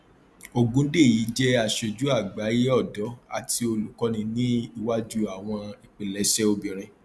ogundeyi jẹ aṣojú àgbáyé ọdọ àti olùkóni ní iwájú àwọn ìpilẹṣẹ obìnrin